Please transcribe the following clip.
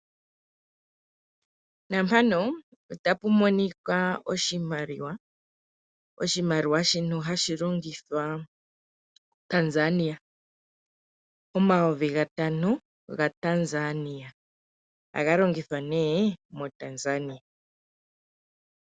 Naampano otapu minika oshimaliwa. Oshimaliwa shino hashi longithwa koTanzania, omayovi gatano gaTanzania. Ohaga longithwa nee moTanzania.